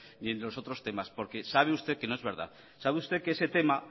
ni en los otros temas porque sabe usted que no es verdad sabe usted que ese tema